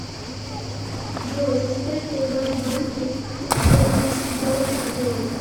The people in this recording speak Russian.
джой за сколько у вас в банке бермудский доллар продают